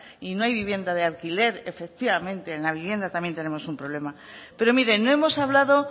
y no hay vivienda de alquiler efectivamente en la vivienda también tenemos un problema pero mire no hemos hablado